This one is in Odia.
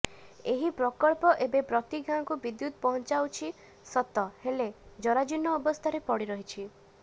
ଏହି ପ୍ରକଳ୍ପ ଏବେ ପ୍ରତି ଗାଁକୁ ବିଦ୍ୟୁତ ପହଞ୍ଚିଯାଉଛି ସତ ହେଲେ ଜରାଜୀର୍ଣ୍ଣ ଅବସ୍ଥାରେ ପଡି ରହିଛି